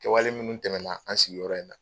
Kɛwale minnu tɛmɛna an sigiyɔrɔ in na